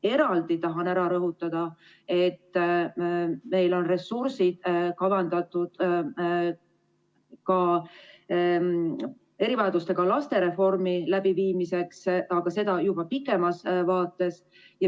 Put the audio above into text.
Eraldi tahan rõhutada, et meil on ressursid kavandatud erivajadustega lapsi puudutava reformi elluviimiseks, aga seda juba pikemas vaates.